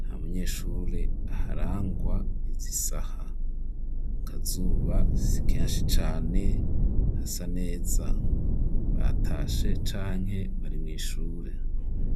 nta munyeshure aharangwa izisaha, akazuba si kenshi cane hasa neza batashe canke bari mw'ishure.